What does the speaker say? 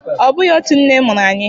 Ọ bụghị otú nne mụrụ anyị